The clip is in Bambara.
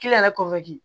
yɛrɛ